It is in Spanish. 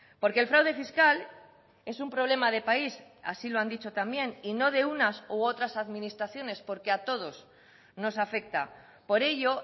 porque el fraude fiscal es un problema de país así lo han dicho también y no de unas u otras administraciones porque a todos nos afecta por ello